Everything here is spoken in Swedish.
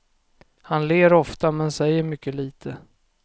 Han ler ofta, men säger mycket litet.